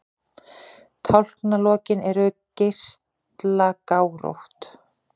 Tálknalok eru geislagárótt.